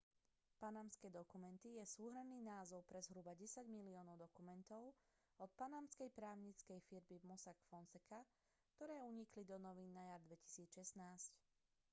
panamské dokumenty je súhrnný názov pre zhruba desať miliónov dokumentov od panamskej právnickej firmy mossack fonseca ktoré unikli do novín na jar 2016